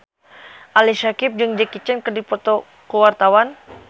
Ali Syakieb jeung Jackie Chan keur dipoto ku wartawan